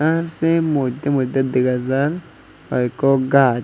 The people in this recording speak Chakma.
ahh sey moddey moddey dega jar hoikko gaaj.